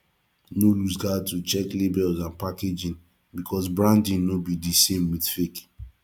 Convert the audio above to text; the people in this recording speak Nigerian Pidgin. no looseguard to check labels and packaging because branding no be di same with fake